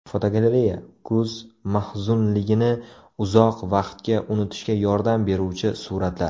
Fotogalereya: Kuz mahzunligini uzoq vaqtga unutishga yordam beruvchi suratlar.